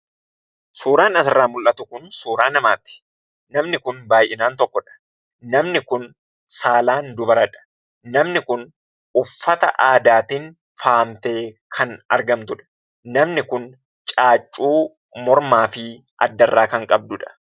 Suuraan asirraa mul'atu kun suuraa namaati. Namni kun baay'inaan tokkodha. Namni kun saalaan dubaradha. Namni kun uffata aadaatiin faayamtee kan argamtudha. Namni kun caaccuu mormaa fi addarraa kan qabduudha.